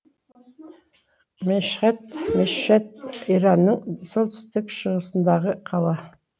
мешһед мешхед иранның солтүстік шығысындағы қала